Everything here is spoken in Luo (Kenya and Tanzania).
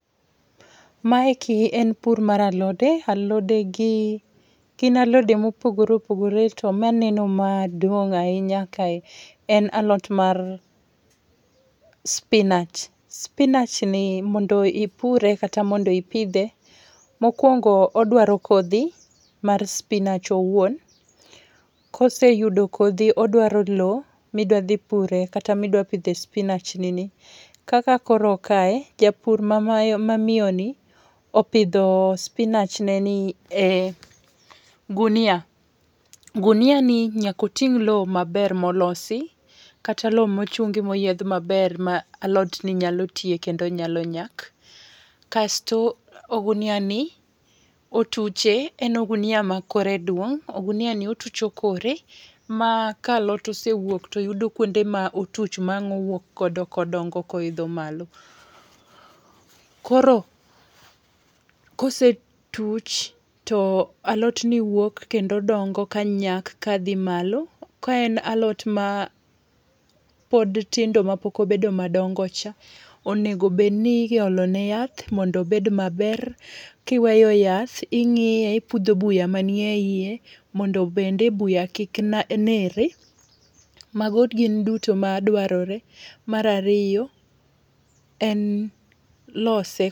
Mae ki en pur mar alode. Alode gi gin alode ma opogore opogore to maneno ma duong' ahinya kae en alot mar spinach. Spinachni mondo ipure, kata mondo ipidhe, mokwongo odwaro kodhi mar spinach owuon. Koseyudo kodhi, odwaro lowo midwa dhi pure, kata midwa dhi pidhe spinach ni ni. Kaka koro kae, japur ma ma miyo ni opidho spinach ne ni e gunia. Gunia ni nyaka oting' lowo maber molosi kata lowo mochung'i moyiedh maber ma alot ni nyalo tie kendo nyalo nyak. Kasto ogunia ni otuche, en ogunia ma kore duong', ogunia ni otucho kore, ma ka alot osewuok to yudo kuonde ma otuch ma wang owuok go kodongo koidho malo. Koro kosetuch to alotni wuok, kendo dongo ka nyak ka dhi malo. Ka en alot ma pod tindo ma pok obed madongocha, onego bed ni iolo ne yath, mondo obed maber. Kiweyo yath, ingíye, ipudho buya manie iye, mondo bende buya kik, kik nere. Mago gin duto ma dwarore. Mar ariyo en lose.